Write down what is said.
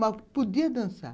Mas podia dançar.